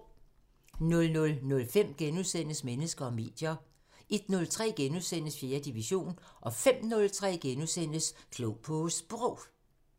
00:05: Mennesker og medier * 01:03: 4. division * 05:03: Klog på Sprog *